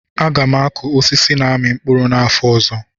Aga m akụ osisi na-amị mkpụrụ n'afọ ọzọ